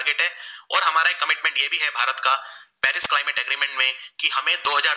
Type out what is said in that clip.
की हमे दो हजार